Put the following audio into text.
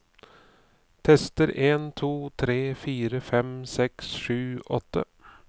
Tester en to tre fire fem seks sju åtte